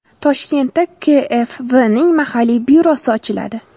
Toshkentda KfW’ning mahalliy byurosi ochiladi.